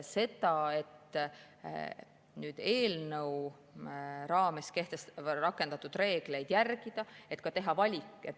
Et eelnõu raames rakendatud reegleid järgida, võib teha ka valiku.